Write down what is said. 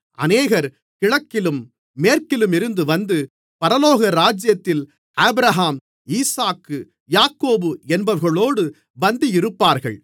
அநேகர் கிழக்கிலும் மேற்கிலுமிருந்து வந்து பரலோகராஜ்யத்தில் ஆபிரகாம் ஈசாக்கு யாக்கோபு என்பவர்களோடு பந்தியிருப்பார்கள்